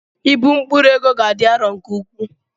Ịbu mkpụrụ ego ga-adị arọ nke ukwuu.